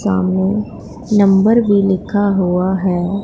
सामने नंबर भी लिखा हुआ है।